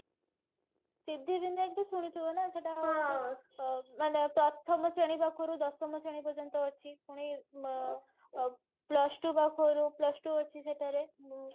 ସିଦ୍ଧିବିନାୟକ ତ ଶୁଣିଥିବ ନା ସେଟା ମାନେ ପ୍ରଥମ ଶ୍ରେଣୀ ପାଖରୁ ଦଶମ ଶ୍ରେଣୀ ପର୍ଯ୍ୟନ୍ତ ଅଛି ଆଉ plus two ପାଖ plus two ଅଛି ସେଠାରେ